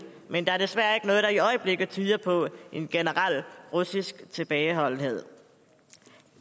men der er desværre ikke noget der i øjeblikket tyder på en generel russisk tilbageholdenhed